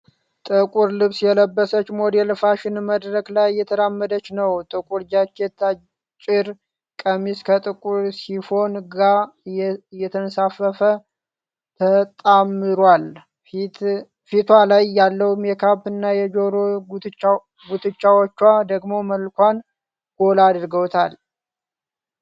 ጥቁር ልብስ የለበሰች ሞዴል ፋሽን መድረክ ላይ እየተራመደች ነው። ጥቁር ጃኬት፣ አጭር ቀሚስ ከጥቁር ሲፎን ጋ እየተንሳፈፈ ተጣምሯል። ፊቷ ላይ ያለው ሜካፕ እና የጆሮ ጉትቻዎቿ ደግሞ መልኳን ጎላ አድርገውታል።